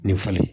Nin falen